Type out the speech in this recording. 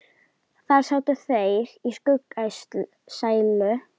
Þar sátu þeir í skuggsælu uns sólin dofnaði.